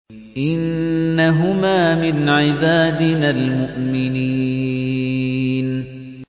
إِنَّهُمَا مِنْ عِبَادِنَا الْمُؤْمِنِينَ